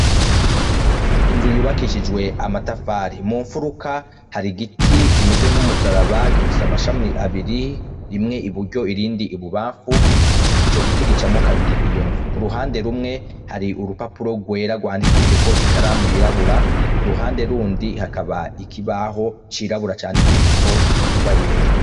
Inzu yubakishijwe amatafari, mumfuruka har'igiti kimeze nk'umusaraba gifise amashama abiri rimwe iburyo irindi ibubafu ico giti gicamwo kabiri iyo nzu, kuruhande rimwe hari urupapuro rwera rwandikishijeko ikaramu yirabura kuruhande rundi hakaba ikibaho cirabura candikishijeko ingwa yera.